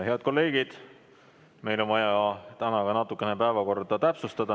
Head kolleegid, meil on vaja täna ka natukene päevakorda täpsustada.